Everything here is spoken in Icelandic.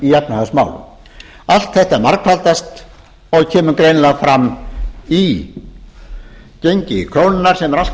í efnahagsmálum allt þetta margfaldast og kemur greinilega fram í gengi krónunnar sem er allt of